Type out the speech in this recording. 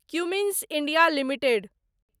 Cummins India limited